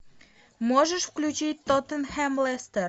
можешь включить тоттенхэм лестер